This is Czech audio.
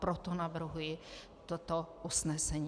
Proto navrhuji toto usnesení.